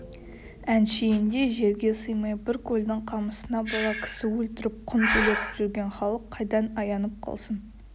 әншейінде жерге сыймай бір көлдің қамысына бола кісі өлтіріп құн төлеп жүрген халық қайдан аянып қалсын